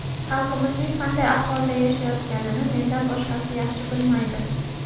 Xalqimizning qanday ahvolda yashayotganini mendan boshqasi yaxshi bilmaydi.